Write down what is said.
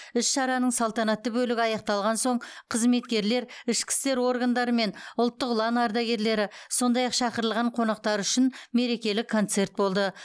іс шараның салтанатты бөлігі аяқталған соң қызметкерлер ішкі істер органдары мен ұлттық ұлан ардагерлері сондай ақ шақырылған қонақтар үшін мерекелік концерт болды